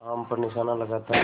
आम पर निशाना लगाता है